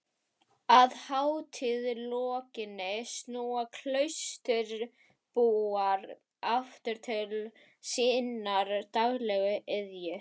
Að hátíð lokinni snúa klausturbúar aftur til sinnar daglegu iðju.